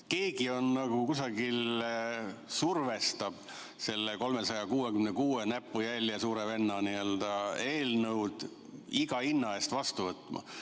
Keegi nagu kusagil survestab seda 366, näpujälje, suure venna eelnõu iga hinna eest vastu võtma.